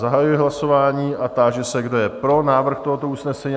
Zahajuji hlasování a táži se, kdo je pro návrh tohoto usnesení?